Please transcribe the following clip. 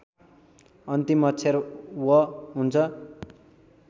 अन्तिम अक्षर व हुन्छ